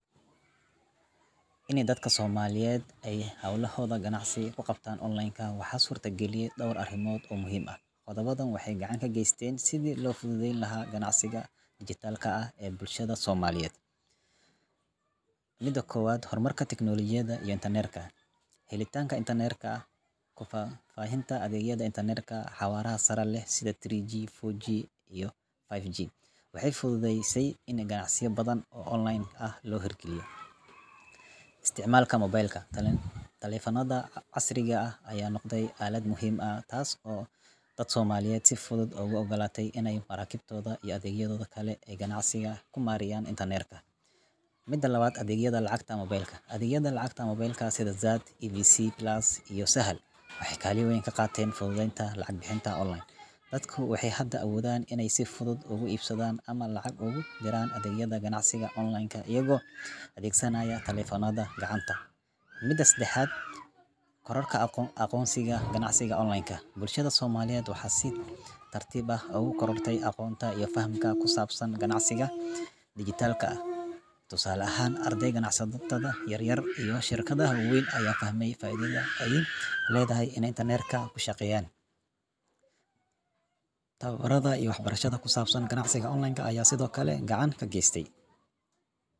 In ay dadka Soomaaliyeed ay hawlahooda ganacsiga u qabtaan online-ka ah, waxaa suurtagal ka dhigay dhowr arrimood oo muhiim ah. Caqabadahaas waxa ay gacan ka geysteen sidii loo fududeyn lahaa ganacsiga dijitaalka ah ee bulshada Soomaaliyeed. Midda koowaad: Horumarka teknoolajiyadda iyo helitaanka [cd]internetka. Ku faafinta adeegyada internetka ee xawaaraha sare leh sida 3G, 4G, iyo 5G, waxay fududeysay in ganacsiyo badan oo online ah la hirgeliyo. Isticmaalka moobilka telefoonada casriga ah ayaa noqday aalad muhiim ah taas oo dadka Soomaaliyeed si fudud ugu oggolaatay in ay maareeyaan macaamiishooda iyo adeegyada kale ee ganacsiga iyagoo adeegsanaya internetka. Midda labaad: Adeegyada moobilka ee lacagta sida Zaad, EVC+, iyo Sahal, waxay kaalmo weyn ka qaateen fududeynta lacag-bixinta online. Dadka waxay hadda awoodaan in ay si fudud ugu iibsadaan ama lacag ugu diraan adeegyada ganacsiga online-ka ayagoo adeegsanaya telefoonada gacanta. Midda saddexaad: Kororka aqoonta ganacsiga online-ka ee bulshada Soomaaliyeed. Waxaa si tartiib tartiib ah u korortay aqoonta iyo fahamka ku saabsan ganacsiga dijitaalka ah. Tusaale ahaan, ardayda, ganacsatada yaryar, iyo shirkadaha waaweyn ayaa garwaaqsaday faa'iidada ay leedahay in ay internetka ku shaqeeyaan. Tababarrada iyo waxbarashada la xiriirta ganacsiga online-ka ayaa sidoo kale gacan ka geystay.